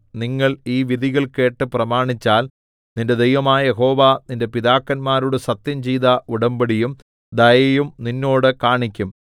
നിങ്ങൾ ഈ വിധികൾ കേട്ട് പ്രമാണിച്ചാൽ നിന്റെ ദൈവമായ യഹോവ നിന്റെ പിതാക്കന്മാരോട് സത്യംചെയ്ത ഉടമ്പടിയും ദയയും നിന്നോട് കാണിക്കും